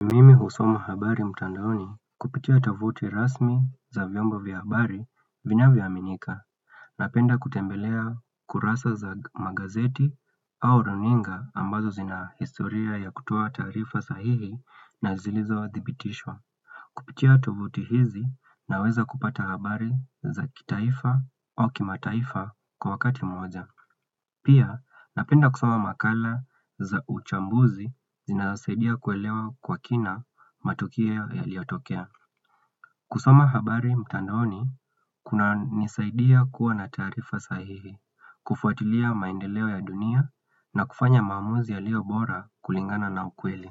Kusoma habari mtandaoni kupitia tavuti rasmi za vyombo vya habari vinavyoaminika. Napenda kutembelea kurasa za magazeti au runinga ambazo zinahistoria ya kutoa taarifa sahihi na zilizodhibitishwa. Kupitia tovuti hizi naweza kupata habari za kitaifa au kimataifa kwa wakati mmoja. Pia, napenda kusoma makala za uchambuzi zinasaidia kuelewa kwa kina matukio yaliyotokea. Kusoma habari mtandoni, kunanisaidia kuwa na taarifa sahihi, kufuatilia maendeleo ya dunia na kufanya maamuzi yaliyobora kulingana na ukweli.